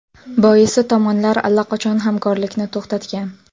Boisi tomonlar allaqachon hamkorlikni to‘xtatgan.